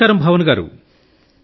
నమస్కారం భావన గారూ